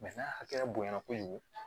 n'a hakɛya bonɲa na kojugu